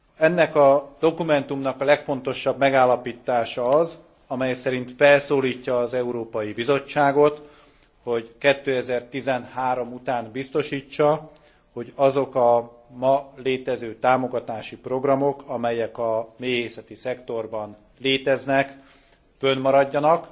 Ennek a dokumentumnak a legfontosabb megállapítása az, amely szerint felszólítja az Európai Bizottságot, hogy 2013 után biztosítsa, hogy azok a ma létező támogatási programok, amelyek a méhészeti szektorban léteznek, fönnmaradjanak